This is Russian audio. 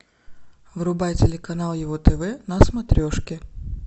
врубай телеканал его тв на смотрешке